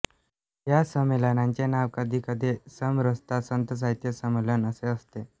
या संमेलनाचे नाव कधीकधी समरसता संत साहित्य संमेलन असे असते